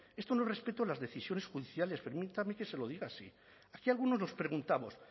esto no es respeto a las decisiones judiciales permítame que se lo diga así aquí algunos nos preguntamos